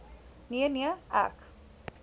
nee nee ek